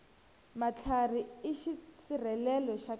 matlhari i xisirhelelo xa khale